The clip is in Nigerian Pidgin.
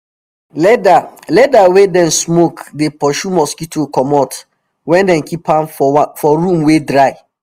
leather leather wey dem smoke dey pursue mosquito comot when dem keep an for room wey dry